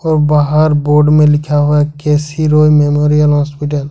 ब बाहर बोर्ड में लिखा हुआ है K C Roy memorial hospital.